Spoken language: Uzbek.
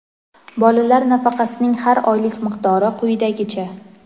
Bolalar nafaqasining har oylik miqdori quyidagicha:.